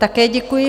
Také děkuji.